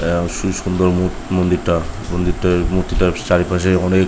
সেই সুন্দর মন্দিরটা মন্দিরটার মূর্তিটার চারিপাশে অনেক ।